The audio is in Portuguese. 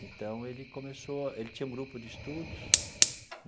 Então, ele começou... ele tinha um grupo de estudos.